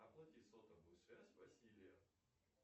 оплати сотовую связь василия